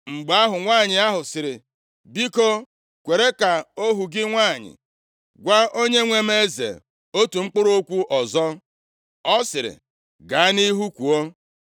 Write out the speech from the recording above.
Mgbe ahụ, nwanyị ahụ sịrị, “Biko kwere ka ohu gị nwanyị gwa onyenwe m eze otu mkpụrụ okwu ọzọ.” Ọ sịrị, “Gaa nʼihu kwuo.”